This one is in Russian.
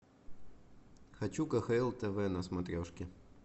хочу кхл тв на смотрешке